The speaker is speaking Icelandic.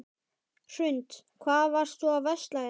Hrund: Hvað varst þú að versla hérna?